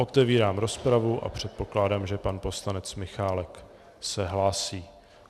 Otevírám rozpravu a předpokládám, že pan poslanec Michálek se hlásí.